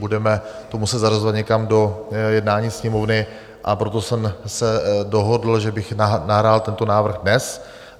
Budeme to muset zařazovat někam do jednání Sněmovny, a proto jsem se dohodl, že bych nahrál tento návrh dnes.